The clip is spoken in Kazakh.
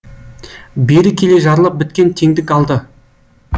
бері келе жарлы біткен теңдік алды